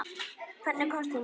Hvernig komstu hingað?